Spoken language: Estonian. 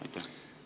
Aitäh!